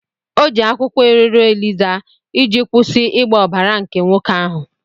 O ji akwụkwọ iriro eliza iji kwụsị ịgba ọbara nke nwoke ahụ.